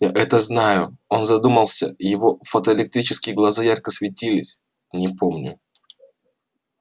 я это знаю он задумался его фотоэлектрические глаза ярко светились не помню